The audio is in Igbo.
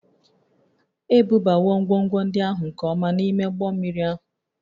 Ebubawo ngwongwo ndị ahụ nke ọma n'ime ụgbọ mmiri ahụ